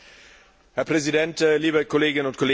Herr Präsident, liebe Kolleginnen und Kollegen!